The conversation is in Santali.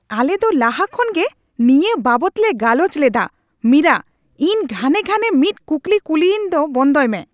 ᱟᱞᱮ ᱫᱚ ᱞᱟᱦᱟ ᱠᱷᱚᱱ ᱜᱮ ᱱᱤᱭᱟᱹ ᱵᱟᱵᱚᱫ ᱞᱮ ᱜᱟᱞᱚᱪ ᱞᱮᱫᱼᱟ ᱢᱤᱨᱟ ! ᱤᱧ ᱜᱷᱟᱱᱮ ᱜᱷᱟᱱᱮ ᱢᱤᱫ ᱠᱩᱠᱞᱤ ᱠᱩᱞᱤᱭᱤᱧ ᱫᱚ ᱵᱚᱱᱫᱚᱭ ᱢᱮ ᱾